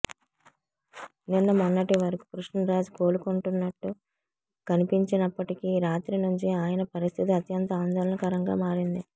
నిన్న మొన్నటి వరకు కృష్ణరాజ్ కోలుకుంటున్నట్టు కనిపించినప్పటికి రాత్రి నుంచి ఆయన పరిస్థితి అత్యంత ఆందోళనకరంగా మారింది